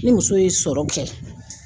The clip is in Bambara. Ni muso ye sɔrɔ kɛ